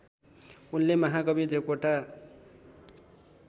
उनले महाकवि देवकोटा